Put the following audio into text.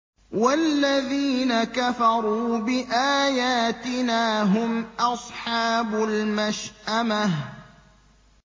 وَالَّذِينَ كَفَرُوا بِآيَاتِنَا هُمْ أَصْحَابُ الْمَشْأَمَةِ